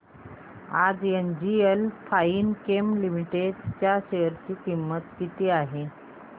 आज NGL fine chem Limited च्या share ची किंमत किती आहे